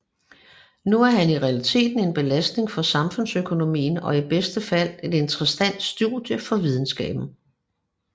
Nu er han i realiteten en belastning for samfundsøkonomien og i bedste fald et interessant studie for videnskaben